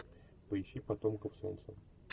поищи потомков солнца